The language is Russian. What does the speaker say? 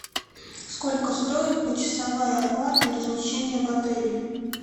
сколько стоит почасовая оплата размещения в отеле